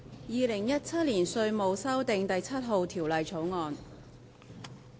《2017年稅務條例草案》。